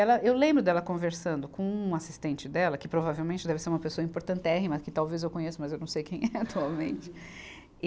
Ela, eu lembro dela conversando com um assistente dela, que provavelmente deve ser uma pessoa importantérrima, que talvez eu conheça, mas eu não sei quem é atualmente. e